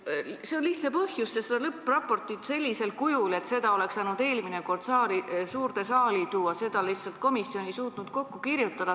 Sellel on lihtne põhjus: lõppraportit sellisel kujul, et seda oleks saanud eelmine kord suurde saali tuua, ei suutnud komisjon lihtsalt kokku kirjutada.